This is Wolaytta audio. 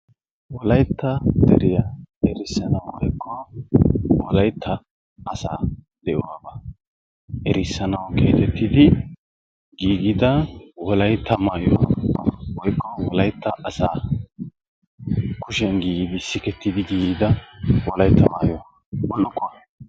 Wolayitta deriya erissanaw woykko wolaytta asaa de"uwaabaa erissanawu geetettidi giigissido wolayitta maayuwa woykko wolayitta asaa kushiyan giigissi sikettidi giigida wolayitta maayuwa bullukkuwa.